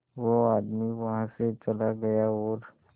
वो आदमी वहां से चला गया और